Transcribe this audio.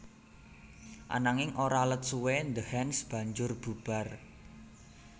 Ananging ora let suwé The Hands banjur bubar